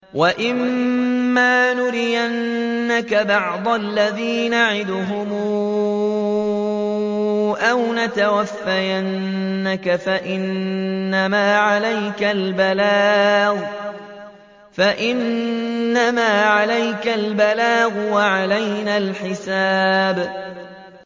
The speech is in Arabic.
وَإِن مَّا نُرِيَنَّكَ بَعْضَ الَّذِي نَعِدُهُمْ أَوْ نَتَوَفَّيَنَّكَ فَإِنَّمَا عَلَيْكَ الْبَلَاغُ وَعَلَيْنَا الْحِسَابُ